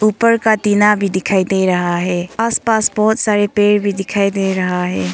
ऊपर का टीना भी दिखाई दे रहा है आसपास बहुत सारे पेड़ भी दिखाई दे रहा है।